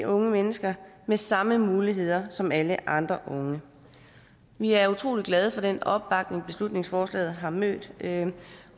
unge mennesker med samme muligheder som alle andre unge vi er utrolig glade for den opbakning beslutningsforslaget har mødt